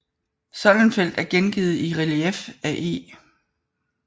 Soldenfeldt er gengivet i relief af E